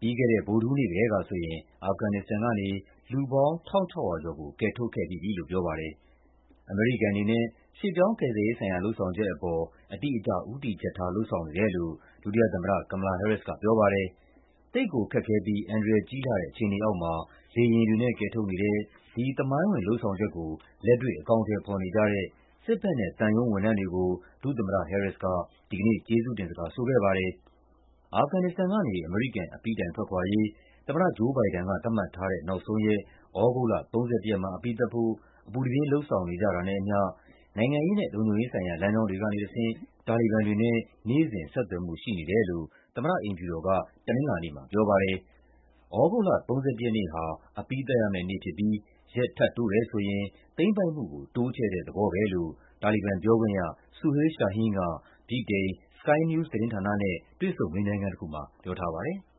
ပြီးခဲ့တဲ့ ဗုဒ္ဓဟူးနေ့ကတည်းကဆိုရင် အာဖဂန်နစ္စတန်ကနေ လူပေါင်း ၁,၆၀၀ ကျော်ကို ကယ်ထုတ်ခဲ့ပြီးပြီလို့ ပြောပါတယ်။ အမေရိကန်အနေနဲ့ ရွှေ့ပြောင်းကယ်ဆယ်ရေးဆိုင်ရာ လုပ်ဆောင်ချက်အပေါ် အတိအကျ ဦးတည်ချက်ထား လုပ်ဆောင်နေတယ်လို့ ဒုသမ္မတ Kamala Harris ကပြောပါတယ်။ သိပ်ကိုခက်ခဲပြီး အန္တရာယ်ကြီးလှတဲ့ အခြေအနေအောက်မှာ လေယာဉ်တွေနဲ့ ကယ်ထုတ်နေတဲ့ ဒီ သမိုင်းဝင် လုပ်ဆောင်ချက်ကို လက်တွေ့ အကောင်အထည်ဖော်နေကြတဲ့ စစ်ဘက်နဲ့သံရုံးဝန်ထမ်းတွေကို ဒုသမ္မတ Harris က ဒီကနေ့ ကျေးဇူးတင်စကားဆိုခဲ့ပါတယ်။ အာဖဂန်နစ္စတန်ကနေ အမေရိကန် အပြီးတိုင်ထွက်ခွာရေး သမ္မတ ဂျိုး ဘိုင်ဒန်က သတ်မှတ်ထားတဲ့ နောက်ဆုံးရက် သြဂုတ်လ ၃၁ ရက်မှာ အပြီးသတ်ဖို့ အပူတပြင်း လုပ်ဆောင်နေတာနဲ့အမျှ နိုင်ငံရေးနဲ့ လုံခြုံရေးဆိုင်ရာ လမ်းကြောင်းတွေကတဆင့် တာလီဘန်တွေနဲ့ နေ့စဉ် ဆက်သွယ်မှုရှိနေတယ်လို့ သမ္မတအိမ်ဖြူတော်က တနင်္လာနေ့မှာပြောပါတယ်။ သြဂုတ်လ ၃၁ ရက်နေ့ဟာ အပြီးသတ်ရမယ့်နေ့ဖြစ်ပြီး ရက်ထပ်တိုးတယ်ဆိုရင် သိမ်းပိုက်မှုကို တိုးချဲ့တဲ့သဘောပဲလို့ တာလီဘန်ပြောခွင့်ရ Suhail Shaheen က ဗြိတိန် Sky News သတင်းဌာနနဲ့ တွေ့ဆုံ မေးမြန်းခန်းတခုမှာ ပြောထားပါတယ်။